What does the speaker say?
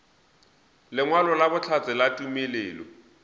lengwalo la bohlatse la tumelelo